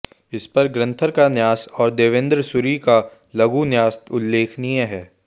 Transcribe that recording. इसपर ग्रंथकार का न्यास और देवेन्द्र सूरि का लघुन्यास उल्लेखनीय हैं